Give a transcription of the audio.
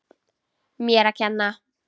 Mér að kenna!